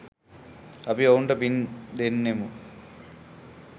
අපි ඔවුන්ට පින් දෙන්නෙමු.